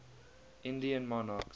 indian monarchs